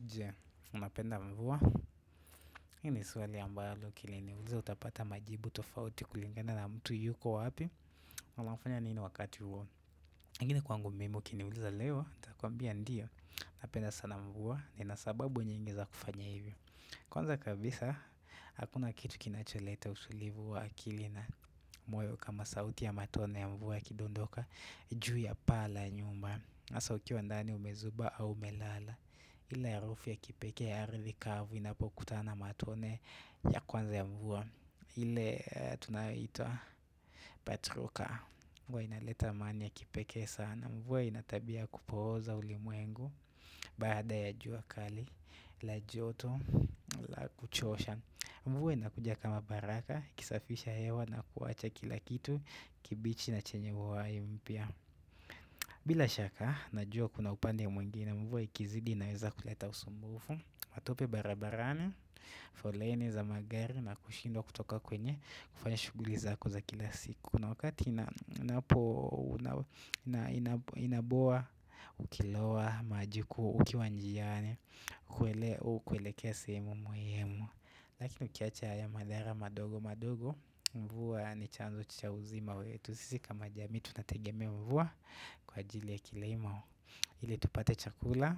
Je, unapenda mvua, hii swali ambalo ukili niuliza utapata majibu tofauti kulingana na mtu yuko wapi na anafanya nini wakati huo. Kingine kwangu mimi ukiniuliza leo, nitakuambia ndiyo, ninapenda sana mvua, ninasababu nyingi za kufanya hivyo. Kwanza kabisa, hakuna kitu kinacholeta utulivu wa akili na moyo kama sauti ya matone ya mvua ya kidondoka, juu ya pala nyumba hasa ukiwa ndani umezuba au melala. Ile harufi ya kipekee ya ardhi kavu inapokutana na matone ya kwanza ya mvua ile tunayoita. Patroka mvua inaleta amani ya kipekee sana mvua inatabia ya kupooza ulimwengu. Baada ya jua kali la joto la kuchosha. Mvua inakuja kama baraka ikisafisha hewa na kuacha kila kitu kibichi na chenye uhai mpya. Bila shaka, najua kuna upande ya mwingine, mvua ikizidi inaweza kuleta usumbufu. Matope barabarani, foleni za magari na kushindwa kutoka kwenye kufanya shughuli zako za kila siku. Na wakati inapo. Inaboa, ukilowa maji huku ukiwanjiani, hukuelekea sehemu muhimu. Lakini ukiacha ya madhara madogo madogo, mvua ni chanzo cha uzima wetu. Sisi kama jamii tutategemea mvua kwa ajili ya kilimo ili tupate chakula,